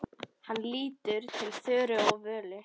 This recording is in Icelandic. Hann lítur til Þóru og Völu.